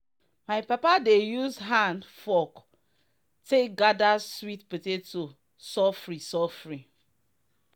my papa dey use hand-fork take gather sweet potato sofri sofri.